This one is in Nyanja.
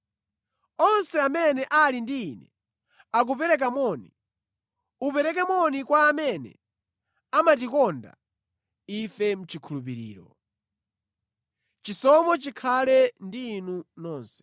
Onse amene ali ndi ine akupereka moni. Upereke moni kwa amene amatikonda ife mʼchikhulupiriro. Chisomo chikhale ndi inu nonse.